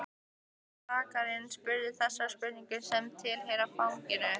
Rakarinn spurði þessara spurninga sem tilheyra faginu